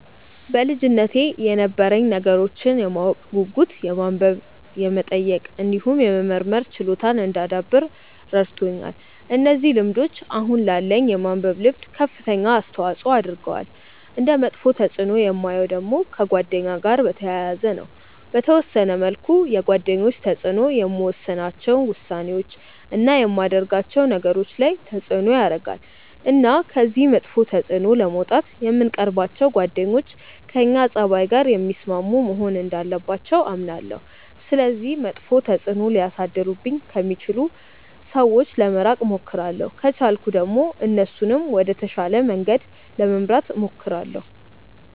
በልጅነቴ የነበረኝ ነገሮችን የማወቅ ጉጉት የማንበብ የመጠየቅ እንዲሁም የመመርመር ችሎታን እንዳዳብር ረድቶኛል። እነዚህ ልምዶች አሁን ላለኝ የማንበብ ልምድ ከፍተኛ አስተዋጽዖ አድርገዋል። እንደ መጥፎ ተፅእኖ የማየው ደግሞ ከጓደኛ ጋር በተያያዘ ነው። በተወሰነ መልኩ የጓደኞች ተጽእኖ የምወስናቸው ውሳኔዎች፣ እና የማደርጋቸው ነገሮች ላይ ተጽእኖ ያረጋል። እና ከዚህ መጥፎ ተጽእኖ ለመውጣት የምንቀርባቸው ጓደኞች ከእኛ ፀባይ ጋር የሚስማሙ መሆን እንዳለባቸው አምናለሁ። ስለዚህ መጥፎ ተጽእኖ ሊያሳድሩብኝ ከሚችሉ ሰዎች ለመራቅ እሞክራለሁ። ከቻልኩ ደግሞ እነሱንም ወደ ተሻለ መንገድ ለመምራት እሞክራለሁ።